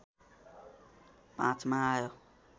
५ मा आयो